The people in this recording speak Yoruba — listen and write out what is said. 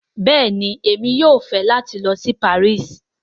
Bẹ́ẹ̀ni, Emi yóò fẹ́ lati lọ sí Parísì